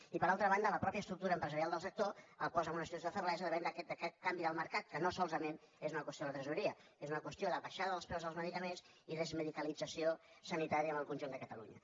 i per altra banda la mateixa estructura empresarial del sector el posa en una situació de feblesa davant d’aquest canvi del mercat que no solament és una qüestió de tresoreria és una qüestió de baixada dels preus dels medicaments i desmedicalització sanitària en el conjunt de catalunya